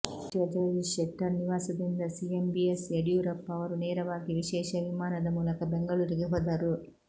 ಸಚಿವ ಜಗದೀಶ್ ಶೆಟ್ಟರ್ ನಿವಾಸದಿಂದ CM B S Yediyurappa ಅವರು ನೇರವಾಗಿ ವಿಶೇಷ ವಿಮಾನದ ಮೂಲಕ ಬೆಂಗಳೂರಿಗೆ ಹೊದರು